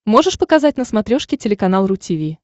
можешь показать на смотрешке телеканал ру ти ви